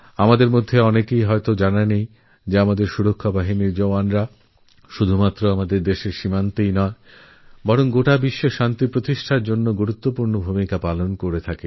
আমাদের মধ্যে অনেক লোক জানেই না যে আমাদের প্রতিরক্ষাবাহিনীর জওয়ান শুধু বর্ডারেই না গোটা বিশ্বে শান্তি স্থাপনে গুরুত্বপূর্ণ ভূমিকাপালন করছেন